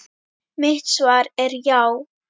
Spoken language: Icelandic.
Mitt svar er já.